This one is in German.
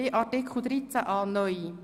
Wir kommen zu Artikel 13a (neu).